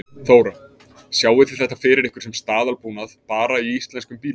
Þóra: Sjáið þið þetta fyrir ykkur sem staðalbúnað bara í íslenskum bílum?